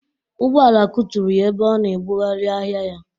Ụgbọala kuturu ya ebe ọ na ebughari ahịa ya